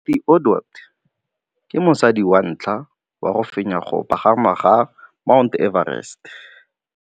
Cathy Odowd ke mosadi wa ntlha wa go fenya go pagama ga Mt Everest.